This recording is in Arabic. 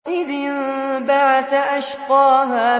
إِذِ انبَعَثَ أَشْقَاهَا